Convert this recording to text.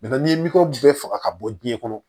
n'i ye bɛɛ faga ka bɔ diɲɛ kɔnɔ